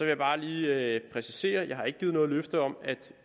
jeg bare lige præcisere at jeg ikke har givet noget løfte om at